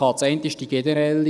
Die eine ist die generelle.